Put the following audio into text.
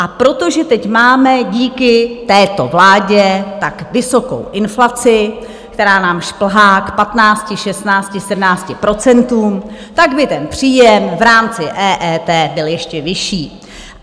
A protože teď máme díky této vládě tak vysokou inflaci, která nám šplhá k 15, 16, 17 procentům, tak by ten příjem v rámci EET byl ještě vyšší.